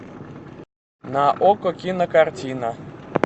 на окко кинокартина